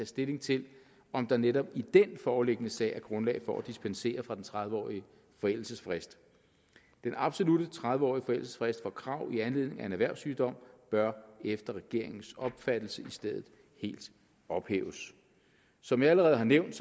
stilling til om der netop i den foreliggende sag er grundlag for at dispensere fra den tredive årige forældelsesfrist den absolutte tredive årige forældelsesfrist af krav i anledning af en erhverssygdom bør efter regeringens opfattelse i stedet helt ophæves som jeg allerede har nævnt